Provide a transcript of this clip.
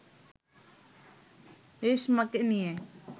রেশমাকে নিয়ে